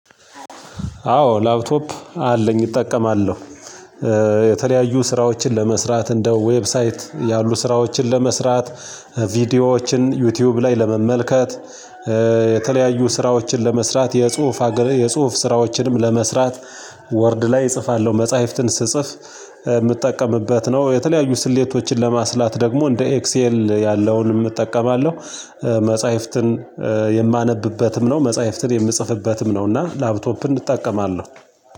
አዎ ላፕቶፕ አለኝ እጠቀማለሁ። የተለያዩ ስራዎችን ለመስራት እንደ ዌብሳይት ያሉ ስራዎችን ለመስራት ቪዲዮዎችን ዩቲዩብ ላይ ለመመልከት የተለያዩ ስራዎችን ለመስራት የጽሁፍ ስራዎችንም ለመስራት ወርድ ላይ እጽፋለሁ መጽሐፍትን ስጽፍ የምጠቀምበት ነው የተለያዩ ስሌቶችን ለማስላት ደግሞ እንደ ኤክስኤል ያለውን እጠቀማለሁ መጽሐፍትን የማነብበትም ነው መጽሐፍትን የምጽፍበትም ነው እና ላፕቶፕን እጠቀማለሁ።